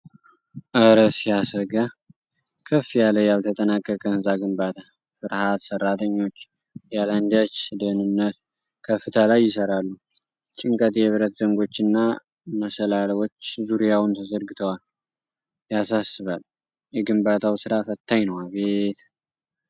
እር ሲያሰጋ! ከፍ ያለ ያልተጠናቀቀ ህንጻ ግንባታ። ፍርሃት! ሠራተኞች ያለአንዳች ደህንነት ከፍታ ላይ ይሠራሉ። ጭንቀት። የብረት ዘንጎችና መሰላልዎች ዙሪያውን ተዘርግተዋል። ያሳስባል! የግንባታው ስራ ፈታኝ ነው። አቤት!